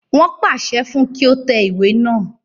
Wọ́n pàṣẹ fún un kí ó tẹ ìwé náà